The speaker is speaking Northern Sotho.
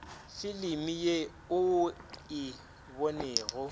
filimi ye o e bonego